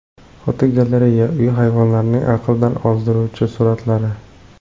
Fotogalereya: Uy hayvonlarining aqldan ozdiruvchi suratlari.